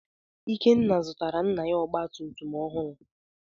Ikenna zụtara nna ya ọgba tum tum ọhụrụ.